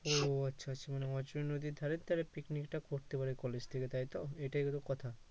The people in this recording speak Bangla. ও আচ্ছা আচ্ছা নদীর ধারে picnic টা করতে পারে college থেকে তাইতো এটাই হলো কথা